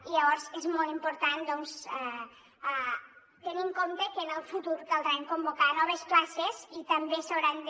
i llavors és molt important doncs tenir en compte que en el futur caldrà convocar noves places i també s’hauran de